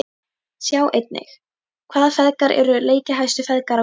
Sjá einnig: Hvaða feðgar eru leikjahæstu feðgar á Íslandi?